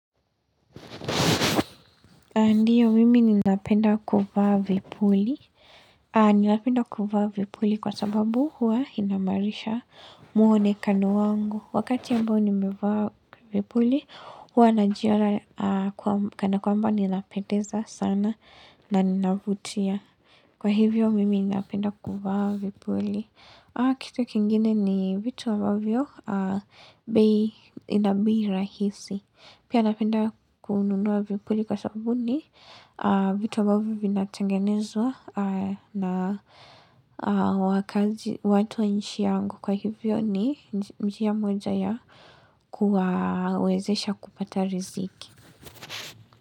Ndio, mimi ninapenda kuvaa vipuli. Ninapenda kuvaa vipuli kwa sababu huwa inahimarisha mwonekano wangu. Wakati ambao nimevaa vipuli, huwa najiona kanakwamba ninapendeza sana na ninavutia. Kwa hivyo, mimi ninaapenda kuvaa vipuli. Kitu kingine ni vitu ambavyo inabei rahisi. Pia napenda kununua vipuli kwa sababu ni, vitu ambavyo vinatangenezwa na watu inchi yangu kwa hivyo ni njia moja ya kuwawezesha kupata riziki.